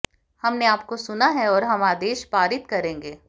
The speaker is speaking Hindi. हमने आपको सुना है और हम आदेश पारित करेंगे